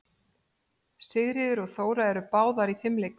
Sigríður og Þóra eru báðar í fimleikum.